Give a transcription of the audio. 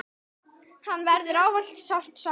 Hennar verður ávallt sárt saknað.